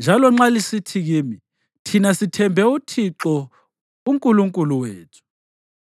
Njalo nxa lisithi kimi, “Thina sithembe uThixo uNkulunkulu wethu,”